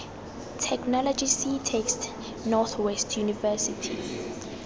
technology ctext north west university